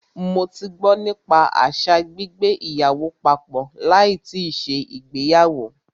Mó tí gbọ́ nípa àṣa gbígbé papọ̀ láì tíì ṣe ìgbéyàwó.